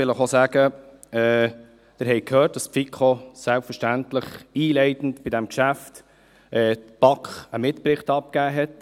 Sie haben gehört, dass die FiKo der BaK zu diesem Geschäft einen Mitbericht abgegeben hat.